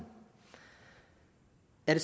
den